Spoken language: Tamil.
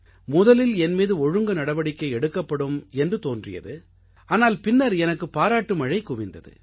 முதலில் என் மீது ஒழுங்கு நடவடிக்கை எடுக்கப்படும் என்று தோன்றியது ஆனால் பின்னர் எனக்குப் பாராட்டு மழை குவிந்தது